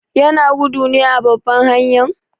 Yana gudu ne a babban hanyan?